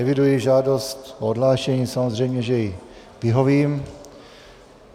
Eviduji žádost o odhlášení, samozřejmě, že jí vyhovím.